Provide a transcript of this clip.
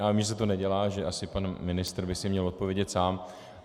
Já vím, že se to nedělá, že asi pan ministr by si měl odpovědět sám.